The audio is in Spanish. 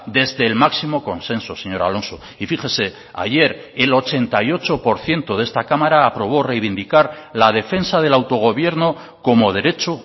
desde el máximo consenso señor alonso y fíjese ayer el ochenta y ocho por ciento de esta cámara aprobó reivindicar la defensa del autogobierno como derecho